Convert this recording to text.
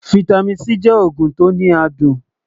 fìtámín C jẹ ògùn tó ní àdùn